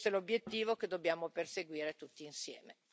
Questo è l'obiettivo che dobbiamo perseguire tutti insieme.